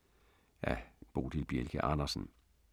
Af Bodil Bjelke Andersen